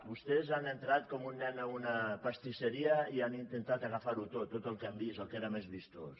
vostès han entrat com un nen a una pastisseria i han intentat agafar ho tot tot el que han vist el que era més vistós